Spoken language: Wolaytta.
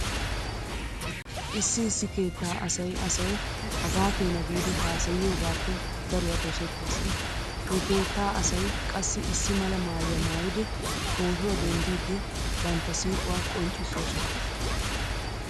Issi issi keettaa asay asay hagaa keena giidi haasayiyogaappe daruwa dosettees. He keetta asay qassi issi mala maayuwa maayidi pootuwa denddiiddi bantta siiquwa qonccissoosona.